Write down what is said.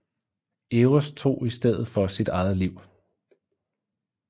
Eros tog i stedet for sit eget liv